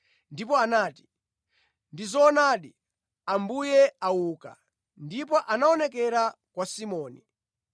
ndipo anati, “Ndi zoonadi! Ambuye auka ndipo anaonekera kwa Simoni.”